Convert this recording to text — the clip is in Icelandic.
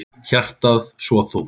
Hjartað svo þungt.